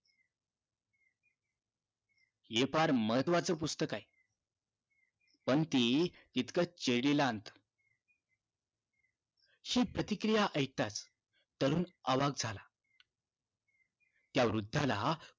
हे फार महत्वाचं पुस्तक आहे पण ती इतकं जेरीला आणत हि प्रतिक्रिया ऐकताच तरुण अवाक झाला त्या वृद्धाला